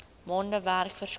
maande werk verskaf